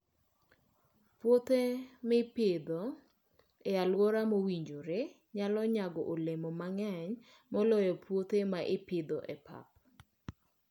Puothe ma ipidho e alwora mowinjore, nyalo nyago olemo mang'eny moloyo puothe ma ipidho e pap.